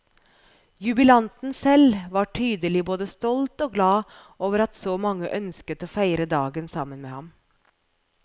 Jubilanten selv var tydelig både stolt og glad over at så mange ønsket å feire dagen sammen med ham.